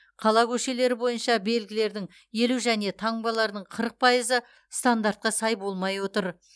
қала көшелері бойынша белгілердің елу және таңбалардың қырық пайызы стандартқа сай болмай отыр